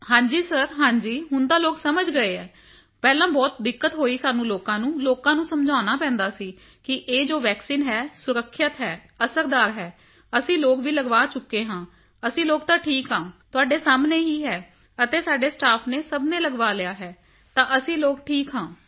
ਹਾਂਜੀ ਸਿਰ ਹਾਂਜੀ ਹੁਣ ਤਾਂ ਲੋਕ ਸਮਝ ਗਏ ਹਨ ਪਹਿਲਾਂ ਬਹੁਤ ਦਿੱਕਤ ਹੋਈ ਸਾਨੂੰ ਲੋਕਾਂ ਨੂੰ ਲੋਕਾਂ ਨੂੰ ਸਮਝਾਉਣਾ ਪੈਂਦਾ ਸੀ ਕੀ ਇਹ ਜੋ ਵੈਕਸੀਨ ਹੈ ਸੁਰੱਖਿਅਤ ਹੈ ਅਤੇ ਅਸਰਦਾਰ ਹੈ ਅਸੀਂ ਲੋਕ ਵੀ ਲਗਵਾ ਚੁੱਕੇ ਹਾਂ ਤਾਂ ਅਸੀਂ ਲੋਕ ਤਾਂ ਠੀਕ ਹਾਂ ਤੁਹਾਡੇ ਸਾਹਮਣੇ ਹੈ ਅਤੇ ਸਾਡੇ ਸਟਾਫ ਨੇ ਸਭ ਨੇ ਲਗਵਾ ਲਿਆ ਹੈ ਤਾਂ ਅਸੀਂ ਲੋਕ ਠੀਕ ਹਾਂ